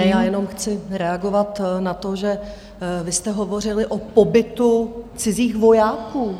Ne, já jenom chci reagovat na to, že vy jste hovořili o pobytu cizích vojáků.